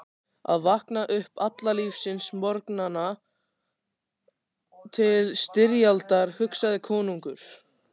Að vakna upp alla lífsins morgna til styrjaldar, hugsaði konungur.